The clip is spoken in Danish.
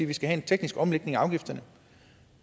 vi skal have en teknisk omlægning af afgifterne